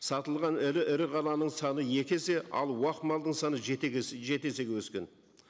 сатылған ірі ірі қараның саны екі есе ал уақ малдың саны жеті есеге өскен